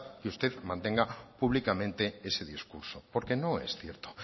que usted mantenga públicamente ese discurso porque no es cierto